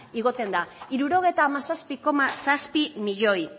igotzen da hirurogeita hamazazpi koma zazpi milioi